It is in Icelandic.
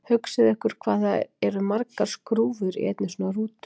Hugsið ykkur hvað það eru margar skrúfur í einni svona rútu!